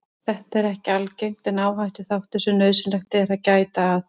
Þetta er ekki algengt en áhættuþáttur sem nauðsynlegt er að gæta að.